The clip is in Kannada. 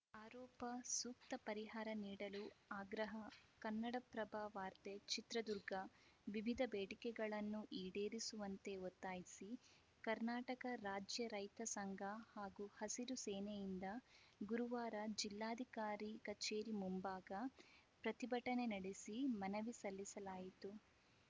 ಆರೋಪ ಸೂಕ್ತ ಪರಿಹಾರ ನೀಡಲು ಆಗ್ರಹ ಕನ್ನಡಪ್ರಭ ವಾರ್ತೆ ಚಿತ್ರದುರ್ಗ ವಿವಿಧ ಬೇಡಿಕೆಗಳನ್ನು ಈಡೇರಿಸುವಂತೆ ಒತ್ತಾಯಿಸಿ ಕರ್ನಾಟಕ ರಾಜ್ಯ ರೈತ ಸಂಘ ಹಾಗೂ ಹಸಿರು ಸೇನೆಯಿಂದ ಗುರುವಾರ ಜಿಲ್ಲಾಧಿಕಾರಿ ಕಚೇರಿ ಮುಂಭಾಗ ಪ್ರತಿಭಟನೆ ನಡೆಸಿ ಮನವಿ ಸಲ್ಲಿಸಲಾಯಿತು